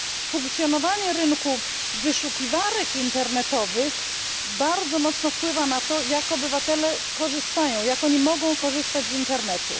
Funkcjonowanie rynku, wyszukiwarek internetowych bardzo mocno wpływa na to, jak obywatele korzystają, jak oni mogą korzystać z internetu.